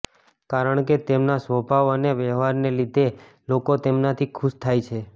કારણકે તેમના સ્વભાવ અને વ્યવહારને લીધે લોકો તેમનાથી ખુશ થાય છે